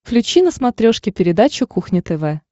включи на смотрешке передачу кухня тв